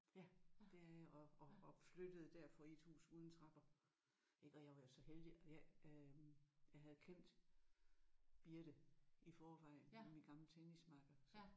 Ja det er jeg. Og og og flyttede derfor i et hus uden trapper ik og jeg var jo så heldig jeg øh jeg havde kendt Birthe i forvejen hun er min gamle tennismakker så